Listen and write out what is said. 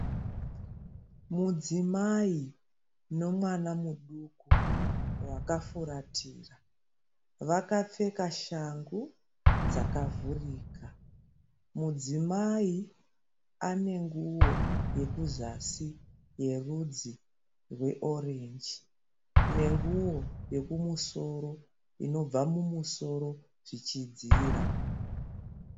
Mudzimai nemwana muduku akafuratika, vakapfeka shangu dzakavurika. Mudzimai anenguwo yekuzasi yerudzu orenji , nenguwo yekumusoro inobva mumusoro ichidzira.